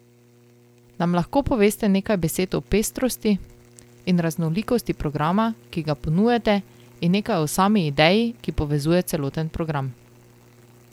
Nam lahko poveste nekaj besed o pestrosti in raznolikosti programa, ki ga ponujate in nekaj o sami ideji, ki povezuje celoten program?